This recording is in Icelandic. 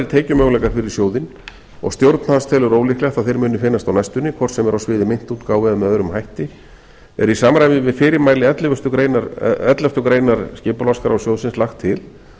tekjumöguleikar fyrir sjóðinn og stjórn hans telur ólíklegt að þeir muni finnast á næstunni hvort sem er á sviði myntútgáfu eða með öðrum hætti er í samræmi við fyrirmæli elleftu greinar skipulagsskrár sjóðsins lagt til